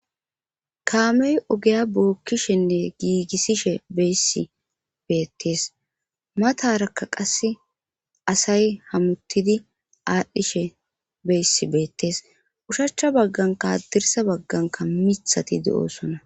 kaamey ogeya bookkishenne giigissishe beyssi beettees mataraka qasse asay hamuttidi aadhdhishe beyssi beettees ushachcha baggankaadirsa bagganka mithati de7oosona